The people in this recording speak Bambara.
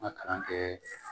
N ka kalan kɛɛ